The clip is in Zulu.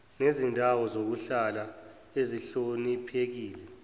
nezindawo zokuhlala ezihloniphekile